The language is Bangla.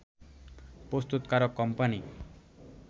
প্রস্তুতকারক কোম্পানি